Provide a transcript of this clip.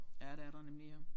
Ja det er der nemlig ja